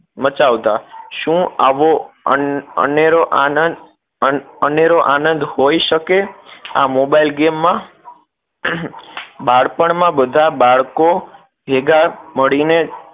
મચાવતા શું આવો અન અનેરો આનંદ અન અનેરો આનંદ હોય શકે આ મોબાઈલ game માં બાળપણ માં બધા બાળકો ભેગા મળી ને